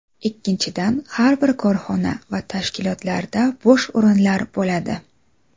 Ikkinchidan, har bir korxona va tashkilotlarda bo‘sh o‘rinlar bo‘ladi.